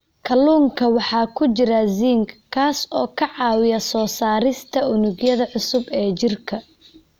Kalluunka waxaa ku jira zinc, kaas oo ka caawiya soo saarista unugyada cusub ee jirka.